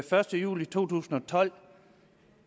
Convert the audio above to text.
første juli to tusind og tolv